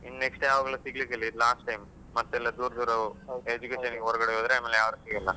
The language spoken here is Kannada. ಇನ್ನು next ಯಾವಾಗ್ಲೂ ಸಿಗಲಿಕ್ಕಿಲ್ಲ, ಇದು last time ಮತ್ತೆ ಎಲ್ಲ ದೂರ ದೂರ education ಗೆಲ್ಲ ಹೊರಗಡೆಹೋದ್ರೆ ಆಮೇಲೆ ಯಾರು ಸಿಗಲ್ಲ.